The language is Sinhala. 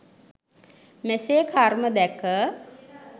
මෙසේ කර්ම දැක